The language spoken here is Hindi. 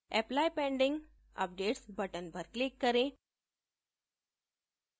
apply pending updates button पर click करें